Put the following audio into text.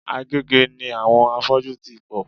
Agege ni àwọn afọ́jú ti pò.